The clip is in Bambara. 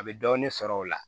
A bɛ dɔɔnin sɔrɔ o la